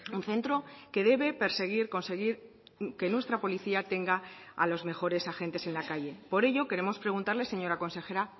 un centro que debe perseguir conseguir que nuestra policía tenga a los mejores agentes en la calle por ello queremos preguntarle señora consejera